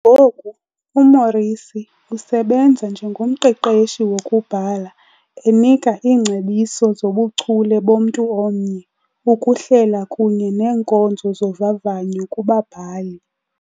Ngoku uMorrissy usebenza njengomqeqeshi wokubhala, enika iingcebiso zobuchule bomntu omnye, ukuhlela kunye neenkonzo zovavanyo kubabhali.